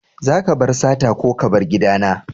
Zaka bar sata ko ka bar gida na!